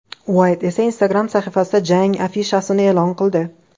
Uayt esa Instagram sahifasida jang afishasini e’lon qildi.